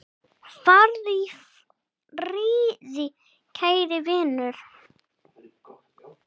Farðu í friði, kæri vinur.